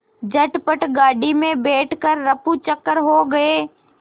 झटपट गाड़ी में बैठ कर ऱफूचक्कर हो गए